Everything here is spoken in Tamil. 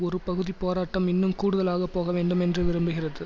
ஒரு பகுதி போராட்டம் இன்னும் கூடுதலாக போகவேண்டும் என்று விரும்புகிறது